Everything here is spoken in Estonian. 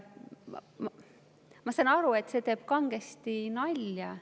Ma saan aru, et see teeb kangesti nalja.